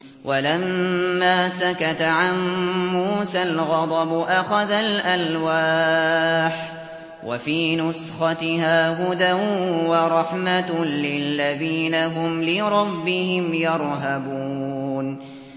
وَلَمَّا سَكَتَ عَن مُّوسَى الْغَضَبُ أَخَذَ الْأَلْوَاحَ ۖ وَفِي نُسْخَتِهَا هُدًى وَرَحْمَةٌ لِّلَّذِينَ هُمْ لِرَبِّهِمْ يَرْهَبُونَ